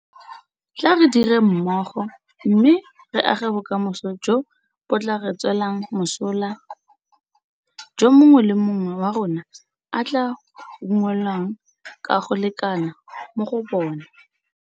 Tla re direng mmogo mme re age bokamoso jo bo tla re tswelang mosola jo mongwe le mongwe wa rona a tla unngwelwang ka go lekana mo go bona.